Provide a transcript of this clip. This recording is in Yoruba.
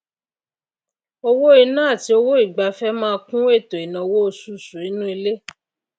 owó inà àti owó ìgbafé máá kún ètò ìnáwó osusù inú ilé